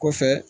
Kɔfɛ